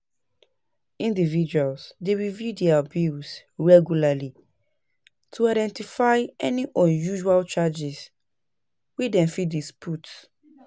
Individuals dey review their bills regularly to identify any unusual charges wey dem fit dispute.